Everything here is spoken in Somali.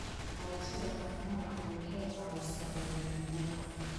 Barashada dhaqamada kale waxay caawisaa midnimada.